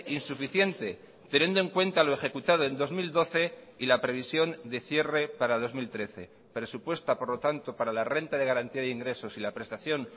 insuficiente teniendo en cuenta lo ejecutado en dos mil doce y la previsión de cierre para dos mil trece presupuesta por lo tanto para la renta de garantía de ingresos y la prestación